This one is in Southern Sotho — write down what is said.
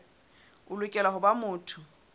o lokela ho ba motho